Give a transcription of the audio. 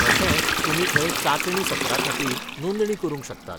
तशेंच तुमी थंय चांचणी सत्राखातीर नोंदणी करूंक शकतात.